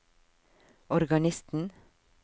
organisten